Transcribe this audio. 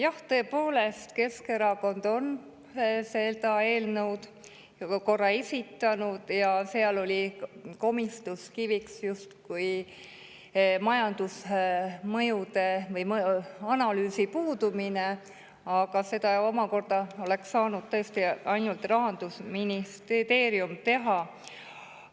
Jah, tõepoolest, Keskerakond on samasisulise eelnõu ju ka korra varem esitanud ja seal oli komistuskiviks justkui majandusmõjude või ‑analüüsi puudumine, aga seda oleks saanud tõesti ainult Rahandusministeerium teha.